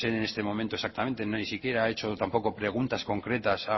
sé en este momento exactamente ni siquiera ha hecho tampoco preguntas concretas